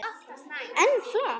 En flott!